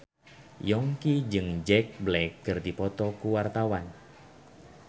Yongki jeung Jack Black keur dipoto ku wartawan